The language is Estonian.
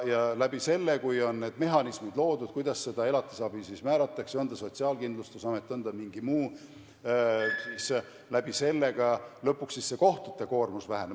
Ja selle kaudu, kui on need mehhanismid loodud, kuidas seda elatisabi määratakse, on ta Sotsiaalkindlustusamet või on ta mingi muu, siis lõpuks ka kohtute koormus väheneb.